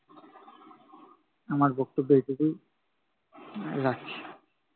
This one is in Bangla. আমার বক্তব্য এটুকুই। আহ রাখছি।